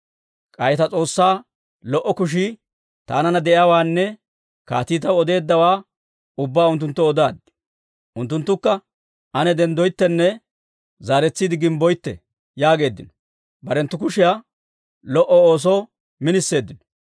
K'ay ta S'oossaa lo"o kushii taananna de'iyaawaanne kaatii taw odeeddawaa ubbaa unttunttoo odaaddi. Unttunttukka, «Ane denddoyttenne zaaretsiide gimbboytte» yaageeddino. Barenttu kushiyaa lo"o oosoo miniseeddino.